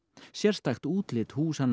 sérstakt útlit húsanna